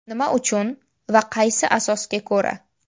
Nima uchun va qaysi asosga ko‘ra?